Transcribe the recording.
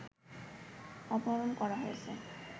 অপহরণ করা হয়েছে